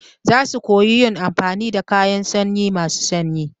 Za su koyi yin amfani da kayan sanyi masu sanyi.